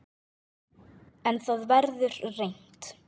En það verður reynt